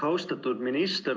Austatud minister!